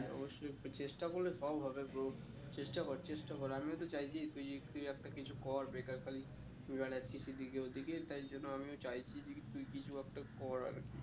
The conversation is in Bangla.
অব্যশই চেষ্টা করলে সব হবে bro চেষ্টা কর চেষ্টা কর আমিও তো চাইছি তুই তুই একটা কিছু কর বেকার খালি ঘুরে বেড়াচ্ছিস এদিকে ওদিকে তাই জন্য আমিও চাইছি যে কি তুই কিছু একটা কর আর কি